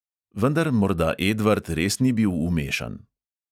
Vendar morda edvard res ni bil vmešan.